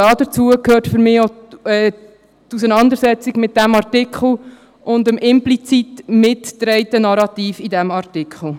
Dazu gehört für mich auch die Auseinandersetzung mit diesem Artikel und dem implizit mitgetragenen Narrativ in diesem Artikel.